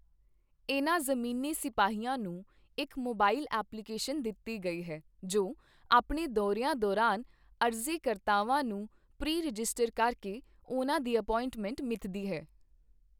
ਇਹਨਾਂ ਜ਼ਮੀਨੀ ਸਿਪਾਹੀਆਂ ਨੂੰ ਇੱਕ ਮੋਬਾਇਲ ਐਪਲੀਕੇਸ਼ਨ ਦਿੱਤੀ ਗਈ ਹੈ, ਜੋ ਆਪਣੇ ਦੌਰਿਆਂ ਦੌਰਾਨ, ਅਰਜ਼ੀ ਕਰਤਾਵਾਂ ਨੂੰ ਪ੍ਰੀ ਰਜਿਸਟਰ ਕਰਕੇ ਉਹਨਾਂ ਦੀ ਐਪੌਇੰਟਮੈਂਟ ਮਿੱਥਦੀ ਹੈ।